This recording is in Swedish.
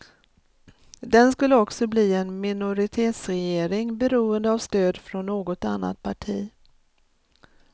Den skulle också bli en minoritetsregering, beroende av stöd från något annat parti.